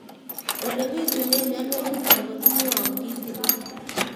Ole pitune mionwek chutok ko kimwau kitig'ín